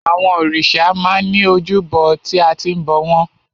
Àwọn òrìṣà máa ń ní ojúbọ tí a ti ń bọ̀ wọ́n.